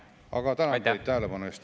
Aga tänan teid tähelepanu eest.